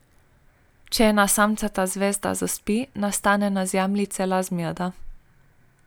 Če ena samcata zvezda zaspi, nastane na Zemlji cela zmeda.